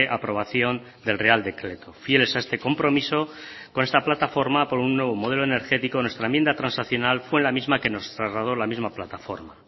aprobación del real decreto fieles a este compromiso con esta plataforma por un nuevo modelo energético nuestra enmienda transaccional fue la misma que nos trasladó la misma plataforma